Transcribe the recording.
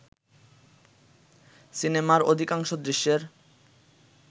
সিনেমার অধিকাংশ দৃশ্যের